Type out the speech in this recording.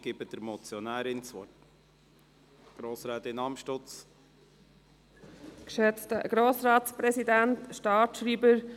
Ich gebe das Wort der Motionärin, Grossrätin Amstutz.